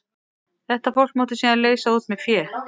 Þetta fólk mátti síðan leysa út með fé.